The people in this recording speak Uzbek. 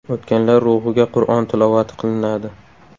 O‘tganlar ruhiga Qur’on tilovati qilinadi.